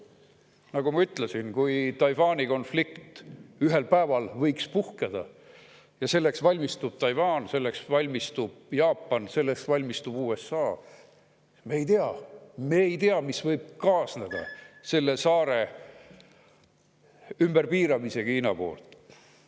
Nagu ma ütlesin, kui ühel päeval puhkeks Taiwani konflikt – selleks valmistub Taiwan, selleks valmistub Jaapan ja selleks valmistub USA –, siis me ei tea, mis võib kaasneda sellega, kui Hiina selle saare ümber piirab.